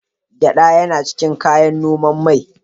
Gyeɗa yana cikin kayan noman mai.